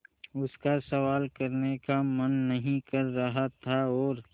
उसका सवाल करने का मन नहीं कर रहा था और